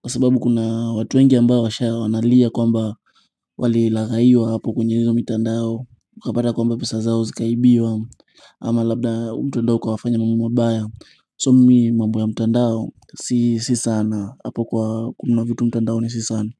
Kwa sababu kuna watu wengi ambao washaona wanalia kwamba wali laghaiwa hapo kwenye hiyo mtandao. Ukapata kwamba pesa zao zikaibiwa. Ama labda mtandao ukawafanya mambo mabaya. So mi mambo ya mtandao si si sana. Hapo kwa kuna vitu mtandaoni si sana.